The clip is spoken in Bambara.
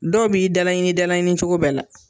Dɔw b'i dalaɲini dalaɲini cogo bɛɛ la.